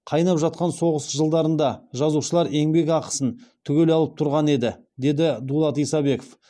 қайнап жатқан соғыс жылдарында жазушылар еңбекақысын түгел алып тұрған еді деді дулат исабеков